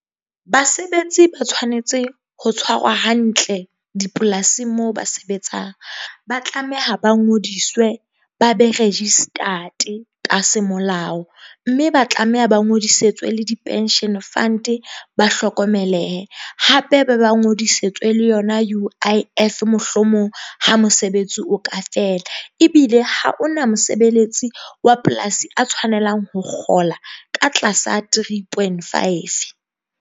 Basebetsi ba tshwanetse ho tshwarwa hantle dipolasing moo ba sebetsang ba tlameha ba ngodiswe ba be register-te ka semolao. Mme ba tlameha ba ngodisitswe le di-pension fund. Ba hlokomelehe hape ba ba ngodisitswe le yona U_I_F mohlomong ha mosebetsi o ka fela. Ebile ha hona mosebeletsi wa polasi a tshwanelang ho kgola ka tlasa three point five.